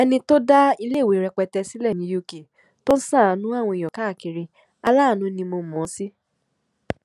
ẹni tó dá iléèwé rẹpẹtẹ sílẹ ní uk tó ń ṣàánú àwọn èèyàn káàkiri aláàánú ni mo mọ ọn sí